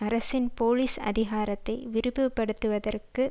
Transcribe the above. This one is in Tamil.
அரசின் போலீஸ் அதிகாரத்தை விரிவுபடுத்துவதற்கு